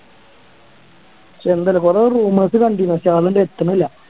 Schengen കൊറേ rumours കണ്ടിരുന്നു പക്ഷെ അതൊന്നും അങ്ങട്ട് എത്തണില്ല